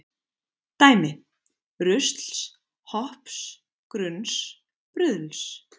Dæmi: rusls, hopps, grunns, bruðls.